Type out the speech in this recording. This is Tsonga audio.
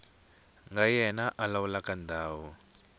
nga yena a lawulaka ndhawu